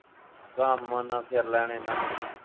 ਕੰਮ ਨਾ ਫਿਰ ਲੈਣ ਇੰਨਾ ਬੜਾ।